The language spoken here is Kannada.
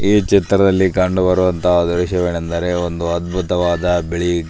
ಈ ಚಿತ್ರದಲ್ಲಿ ಕಂಡು ಬರುವತಹ ದ್ರಶ್ಯವೇನೆಂದರೆ ಒಂದು ಅದ್ಭುತವಾದ ಬಿಳಿ --